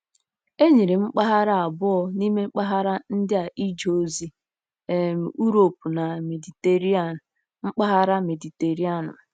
Enyere m mpaghara abụọ n'ime mpaghara ndị a ije ozi: um Uropu na Mediterenian mpaghara Mediterenianu.